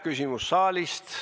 Küsimus saalist.